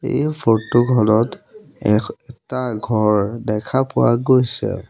এই ফৰ্টো খনত এখ এটা ঘৰ দেখা পোৱা গৈছে।